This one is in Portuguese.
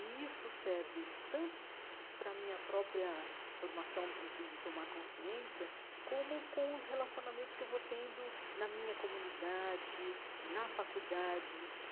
E isso serve tanto para a minha própria formação, no sentido de tomar consciência, como com os relacionamentos que eu vou tendo na minha comunidade, na faculdade.